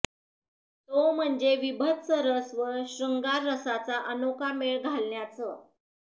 तो म्हणजे विभत्स रस व श्रंगार रसाचा अनोखा मेळ घालण्याचं